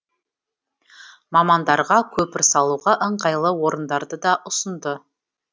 мамандарға көпір салуға ыңғайлы орындарды да ұсынды